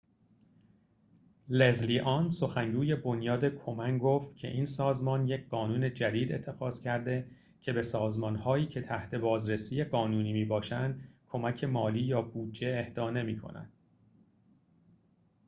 لزلی آن سخنگوی بنیاد کومن گفت که این سازمان یک قانون جدید اتخاذ کرده که به سازمان‌هایی که تحت بازرسی قانونی می‌باشند کمک مالی یا بودجه اهدا نمی‌کند